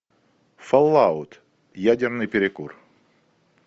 фоллаут ядерный перекур